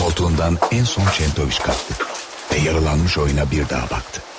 Koltuğundan ən son Çentoviç qalxdı və yarulanmış oyuna bir daha baxdı.